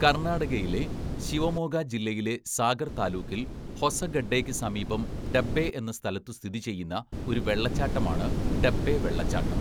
കർണാടകയിലെ ശിവമോഗ ജില്ലയിലെ സാഗർ താലൂക്കിൽ ഹൊസഗഡ്ഡെയ്ക്ക് സമീപം ഡബ്ബെ എന്ന സ്ഥലത്തു സ്ഥിതിചെയ്യുന്ന ഒരു വെള്ളച്ചാട്ടമാണ് ഡബ്ബെ വെള്ളച്ചാട്ടം.